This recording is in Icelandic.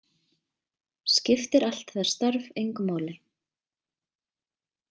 Skiptir allt það starf engu máli?